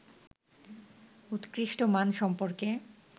উৎকৃষ্ট মান সম্পর্কে